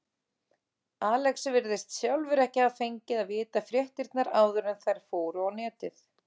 Alex virðist sjálfur ekki hafa fengið að vita fréttirnar áður en þær fóru á netið.